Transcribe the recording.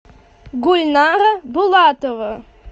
гульнара булатова